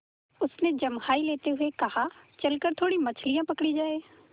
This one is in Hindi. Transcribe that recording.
उसने जम्हाई लेते हुए कहा चल कर थोड़ी मछलियाँ पकड़ी जाएँ